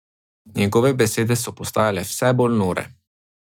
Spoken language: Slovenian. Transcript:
Njegove besede so postajale vse bolj nore.